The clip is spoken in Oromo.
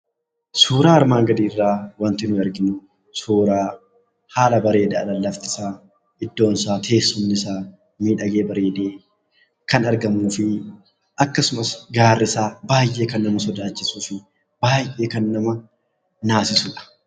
Suuraa armaan gadii irraa wanti nuti arginu suuraa bareedaa bakki isaa, teessumni isaa fi gaarri isaa kan nama sodaachisuu fi naasisuu dha.